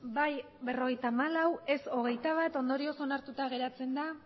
bai berrogeita hamalau ez hogeita bat ondorioz onartuta geratzen da